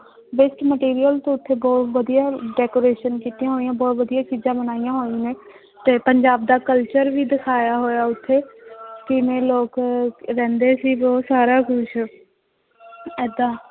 Waste material ਤੋਂ ਉੱਥੇ ਬਹੁਤ ਵਧੀਆ decoration ਕੀਤੀਆਂ ਹੋਈਆਂ ਬਹੁਤ ਵਧੀਆ ਚੀਜ਼ਾਂ ਬਣਾਈਆਂ ਹੋਈਆਂ ਨੇ ਤੇ ਪੰਜਾਬ ਦਾ culture ਵੀ ਦਿਖਾਇਆ ਹੋਇਆ ਉੱਥੇ ਕਿਵੇਂ ਲੋਕ ਰਹਿੰਦੇ ਸੀ ਉਹ ਸਾਰਾ ਕੁਛ ਏਦਾਂ